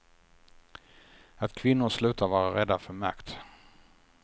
Att kvinnor slutar vara rädda för makt.